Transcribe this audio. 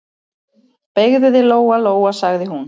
Beygðu þig, Lóa-Lóa, sagði hún.